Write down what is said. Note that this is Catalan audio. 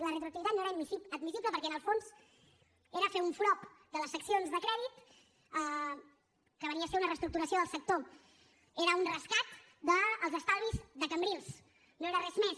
la retroactivitat no era admissible perquè en el fons era fer un frob de les seccions de crèdit que venia a ser una reestructuració del sector era un rescat dels estalvis de cambrils no era res més